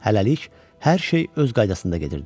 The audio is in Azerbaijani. Hələlik hər şey öz qaydasında gedirdi.